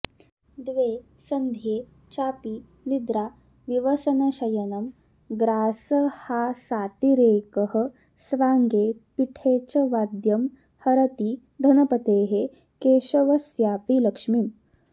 द्वे सन्ध्ये चापि निद्रा विवसनशयनं ग्रासहासातिरेकः स्वाङ्गे पीठे च वाद्यं हरति धनपतेः केशवस्यापि लक्ष्मीम्